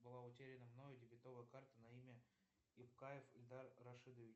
была утеряна мною дебетовая карта на имя ибкаев ильдар рашидович